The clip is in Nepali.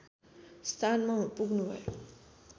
स्थानमा पुग्नुभयो